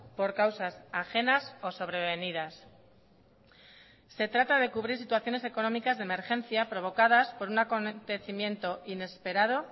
por causas ajenas o sobrevenidas se trata de cubrir situaciones económicas de emergencia provocadas por un acontecimiento inesperado